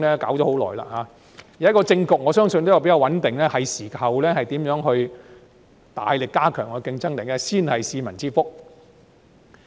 現時政局比較穩定，我相信是時候大力研究如何加強競爭，才是市民之福。